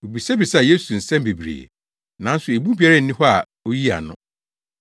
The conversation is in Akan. Wobisabisaa Yesu nsɛm bebree, nanso emu biara nni hɔ a oyii ano.